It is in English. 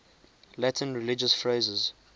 latin religious phrases